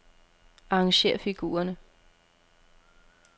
Arrangér figurerne.